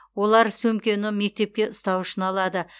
олар сөмкені мектепке ұстау үшін алады